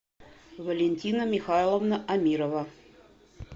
валентина михайловна амирова